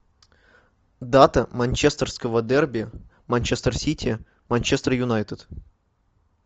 дата манчестерского дерби манчестер сити манчестер юнайтед